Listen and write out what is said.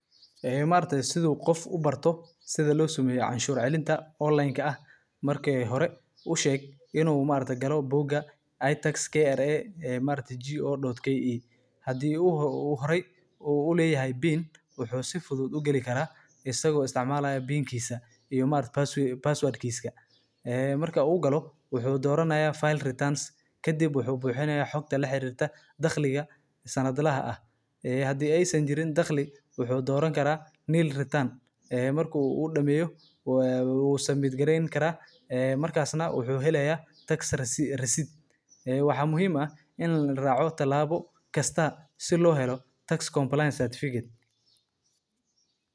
Amarkta sidu qof ubartoh sida losamayo cashur calinta onlineka ah marki hore usheg inu markta galo booka ay taxes kra amarkta jo.ki hadii uhore u ulatahay pin wuxu si fudud ugali garah asago isticmalayo pinkisa iyo markatah passwordkisa, aa marku ugalo wuxu udoranaya flie retience ka dhib wuxu buxinaya xogta la xirirtoh daqlika sanad laha hadii ay saan jirin in daqli waxu doranikarah nilretun aa marku udamayo oo subit garaynikara markasnah waxu haya taxes rasid wax muhiim ah in la raco talbo gasta si lo halo taxes complines that viked.